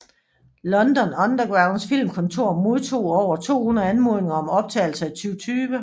London Undergrounds filmkontor modtog over 200 anmodninger om optagelser i 2000